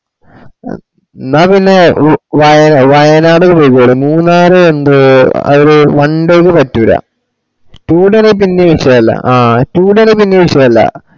ന്നാ പിന്നാ ഹും വ വയ വയനാട്‌ പോയിക്കോളിൻ മൂന്നാര് എന്തൊ അഴിൽ one days പാറ്റൂലാ two days പിന്നെ വിശയല്ല ആഹ് two day പിന്നെ വിശയല്ല.